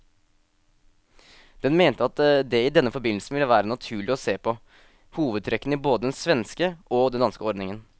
Den mente at det i denne forbindelse ville være naturlig å se på hovedtrekkene i både den svenske og den danske ordningen.